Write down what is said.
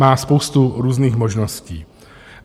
Má spoustu různých možností.